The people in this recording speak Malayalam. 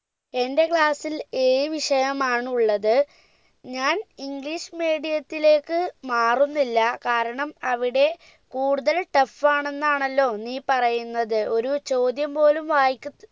എന്റെ class ൽ ഏഴ് വിഷയമാണുള്ളത് ഞാൻ english medium ത്തിലേക്ക് മാറുന്നില്ല കാരണം അവിടെ കൂടുതൽ tough ആണെന്നാണല്ലോ നീ പറയുന്നത് ഒരു ചോദ്യം പോലും വായിക്ക